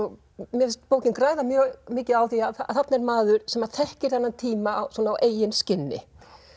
mér finnst bókin græða mjög mikið á því að þarna er maður sem að þekkir þennan tíma svona á eigin skinni